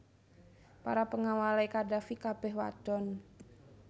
Para pengawale Qaddafi kabeh wadon